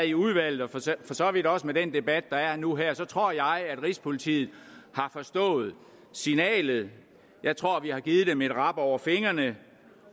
i udvalget og for så vidt også med den debat der er nu her tror jeg at rigspolitiet har forstået signalet jeg tror at vi har givet dem et rap over fingrene